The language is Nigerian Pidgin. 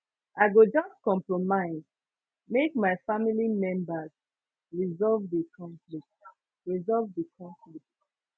i go just compromise make my family members resolve di conflict resolve di conflict